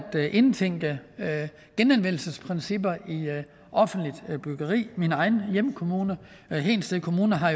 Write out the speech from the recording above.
indtænke genanvendelsesprincipper i offentligt byggeri min egen hjemkommune hedensted kommune har